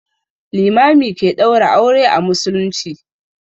Limami ke ɗaura aure a musulmci.